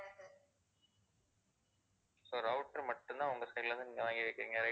so router மட்டும் தான் உங்க side ல இருந்து நீங்க வாங்கிருக்கீங்க.